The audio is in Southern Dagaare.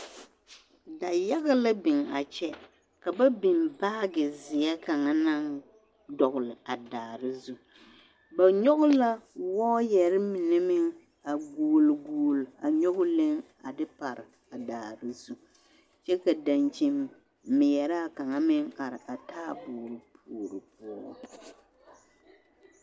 Dayaɡa la biŋ a kyɛ ka ba biŋ baaɡezeɛ kaŋa a daare zu ba nyɔɡe la wɔɔyɛre mine meŋ a ɡuoleɡuole nyɔɡe leŋ a de pare a daare zu kyɛ ka daŋkyini meɛraa kaŋ meŋ are a taaboori puori poɔ.